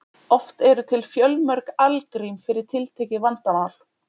Oft eru til fjölmörg algrím fyrir tiltekið vandamál.